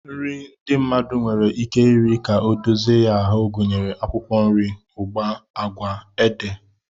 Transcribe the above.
Nri ndị mmadụ nwere ike iri ka ọ dozie ya ahụ gụnyere akwụkwọ nri, ụgba, agwa, ede,